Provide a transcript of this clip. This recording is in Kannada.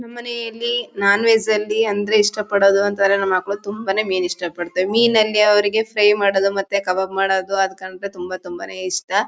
ನಮ್ ಮನೆಯಲ್ಲಿ ನಾನ್ವೆಜ್ ಅಲ್ಲಿ ಅಂದ್ರೆ ಇಷ್ಟ ಪಡದು ಅಂತಂದ್ರೆ ನಮ್ ಮಕ್ಳು ತುಂಬಾನೇ ಮೀನ್ ಇಷ್ಟ ಪಡ್ತಾರೆ. ಮೀನ್ ಅಲ್ಲಿ ಅವರಿಗೆ ಫ್ರೈ ಮಾಡದು ಮತ್ತೆ ಖಬಾಬ್ ಮಾಡದು ಅದ್ ಕಂಡ್ರೆ ತುಂಬಾ ತುಂಬಾನೇ ಇಷ್ಟ.